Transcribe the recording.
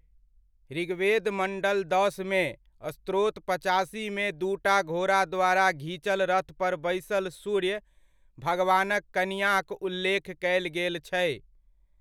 ऋग्वेद मण्डल दसमे, स्तोत्र पचासीमे दूटा घोड़ा द्वारा घीचल रथ पर बैसल सूर्य भगवानक कनिआँक उल्लेख कयल गेल छै।